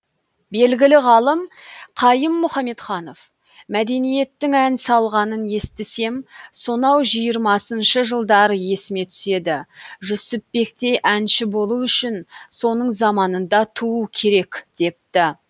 белгілі ғалым қайым мұхаметханов мәдениеттің ән салғанын естісем сонау жиырмасыншы жылдар есіме түседі жүсіпбектей әнші болу үшін соның заманында туу керек депті